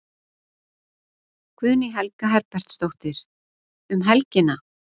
Guðný Helga Herbertsdóttir: Um helgina?